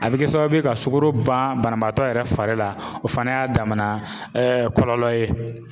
A bi kɛ sababu ye ka sukaro ban banabaatɔ yɛrɛ fari la, o fana y'a damana kɔlɔlɔ ye